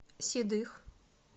седых